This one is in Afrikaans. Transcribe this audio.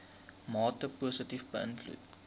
mate positief beïnvloed